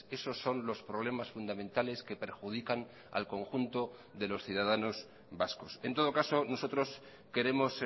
esos son los problemas fundamentales que perjudican al conjunto de los ciudadanos vascos en todo caso nosotros queremos